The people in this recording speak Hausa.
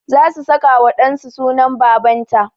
Za su saka wa ɗan su sunan baban ta